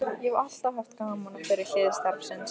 Ég hef alltaf haft gaman af þeirri hlið starfsins.